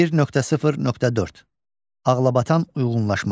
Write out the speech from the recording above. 1.0.4. Ağlabatan uyğunlaşma.